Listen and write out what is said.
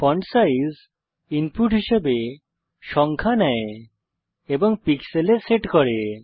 font size input হিসাবে সংখ্যা নেয় এবং পিক্সেলে সেট করে